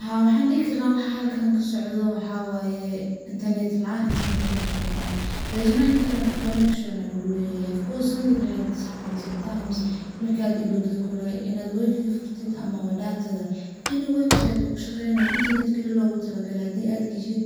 Haa, waxaan dihi karaah waxa halkan kasocdho waxaa waye internet laan, internet connection laan.No internet connection aa luguleyehe Of course something like this happens sometimes markad ilowdid oo kale in ad wayfaga furtid oo kale ama wa datada any website oo kushaqeeynayo datada oo kale hadi ad gashid